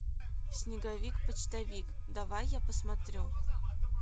снеговик почтовик давай я посмотрю